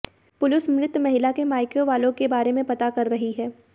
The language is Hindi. पुलिस मृत महिला के मायके वालों के बारे में पता कर रही है